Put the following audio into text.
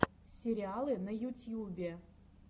сериалы на ютьюбе